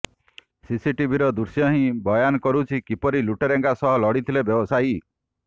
ସିସିଟିଭିର ଦୃଶ୍ୟ ହିଁ ବୟାନ କରୁଛି କିପରି ଲୁଟେରାଙ୍କ ସହ ଲଢିଥିଲେ ବ୍ୟବସାୟୀ